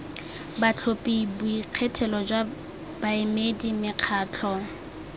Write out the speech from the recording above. batlhophi boikgethelo jwa baemedi mekgatlho